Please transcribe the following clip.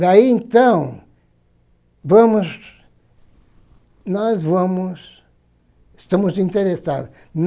Daí, então, vamos... Nós vamos... Estamos interessados.